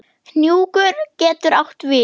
Hnjúkur getur átt við